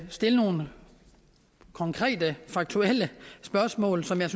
stilles nogle konkrete faktuelle spørgsmål som jeg